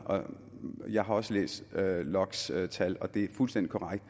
jeg har også læst lokks tal og det er fuldstændig korrekt